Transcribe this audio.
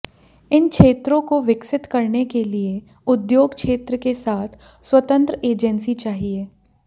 इन क्षेत्रों को विकसित करने के लिए उद्योग क्षेत्र के साथ स्वतंत्र एजेंसी चाहिए